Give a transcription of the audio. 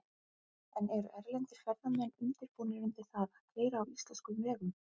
En eru erlendir ferðamenn undirbúnir undir það að keyra á íslenskum vegum?